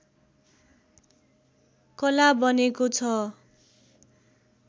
कला बनेको छ